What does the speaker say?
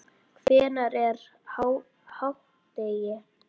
Hvenær er hádegi?